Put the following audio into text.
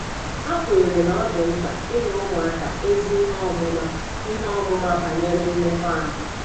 Ha kweere na ọ dị mkpa inye ụmụaka ezi ihe ọmụma ihe ọmụma banyere mmekọahụ.